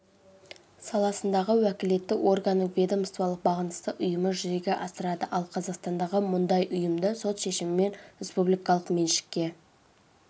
саласындағы уәкілетті органның ведомстволық бағынысты ұйымы жүзеге асырады ал қазақстандағы мұндайұйымды сот шешімімен республикалық меншікке